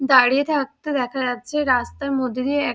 দাঁড়িয়ে থাকতে দেখা যাচ্ছে রাস্তার মধ্যে দিয়ে এক --